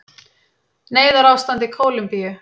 Neyðarástand í Kólumbíu